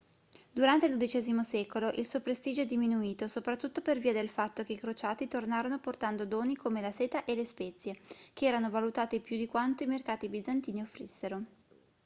durante il dodicesimo secolo il suo prestigio è diminuito soprattutto per via del fatto che i crociati tornarono portando doni come la seta e le spezie che erano valutati più di quanto i mercati bizantini offrissero